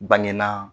Bange na